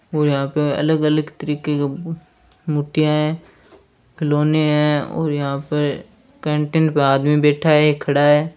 और यहाँ पर अलग अलग तरह का मुठिया है खिलोने है और यह पर कैंटीन पर आदमी बैठा है खड़ा है।